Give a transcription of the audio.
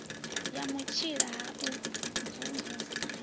ya vhutsila ha u mvumvusa